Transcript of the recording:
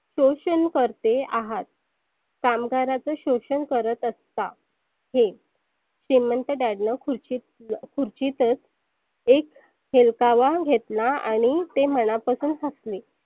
सोषन करते आहात. कामगाराच सोषन करत असता. हे श्रिमंत Dad नं खुर्चीत खुर्चीतच एक हेलकावा घेतला आणि ते मनापासून हसले.